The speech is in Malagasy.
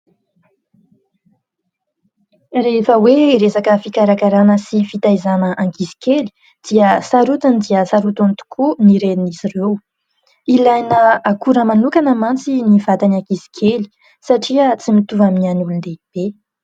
Rehefa hoe resaka fikarakarana sy fitaizana ankizy kely dia sarotiny dia sarotiny tokoa ny Renin'izy ireo. Ilaina akora manokana mantsy ny vatan'ny ankizy kely satria tsy mitovy amin'ny an'ny olon-dehibe.